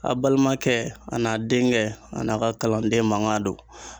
A balimakɛ a n'a denkɛ a n'a ka kalanden mankan don.